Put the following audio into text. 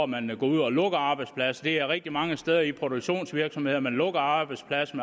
man ud og lukker arbejdspladser det er rigtig mange steder i produktionsvirksomheder man lukker arbejdspladser